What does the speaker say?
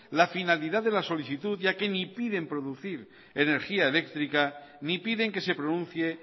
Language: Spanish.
la finalidad de la solicitud ya que ni piden producir energía eléctrica ni piden que se pronuncie